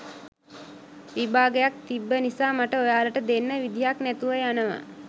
විභාගයක් තිබ්බ නිසා මට ඔයාලට දෙන්න විදිහක් නැතුව යනවා.